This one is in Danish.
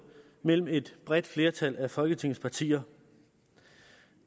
mellem et bredt flertal af folketingets partier